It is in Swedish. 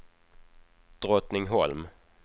Drottningholm